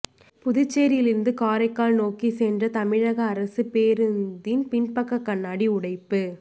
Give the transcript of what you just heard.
புதுச்சேரியில் இருந்து காரைக்கால் நோக்கி சென்ற தமிழக அரசு பேருந்தின் பின்பக்க கண்ணாடி உடைப்பு